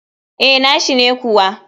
Eh, nashi ne kuwa.